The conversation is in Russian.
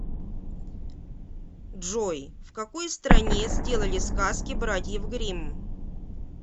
джой в какой стране сделали сказки братьев гримм